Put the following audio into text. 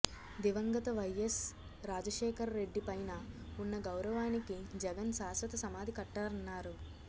దివంగత వైయస్ రాజశేఖర రెడ్డి పైన ఉన్న గౌరవానికి జగన్ శాశ్వత సమాధి కట్టారన్నారు